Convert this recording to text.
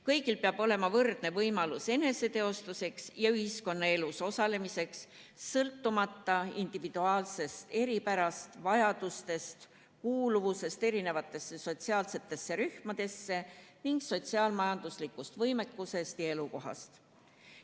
Kõigil peab olema võrdne võimalus eneseteostuseks ja ühiskonnaelus osalemiseks, sõltumata individuaalsetest eripäradest, vajadustest, kuuluvusest erisugustesse sotsiaalsetesse rühmadesse ning sotsiaal-majanduslikust võimekusest ja elukohast.